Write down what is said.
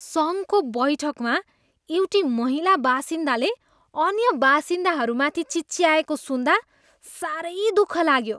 सङ्घको बैठकमा एउटी महिला बासिन्दाले अन्य बासिन्दाहरूमाथि चिच्याएको सुन्दा साह्रै दुःख लाग्यो।